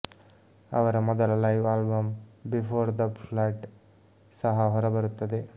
ಅವರ ಮೊದಲ live album before the flood ಸಹ ಹೊರಬರುತ್ತದೆ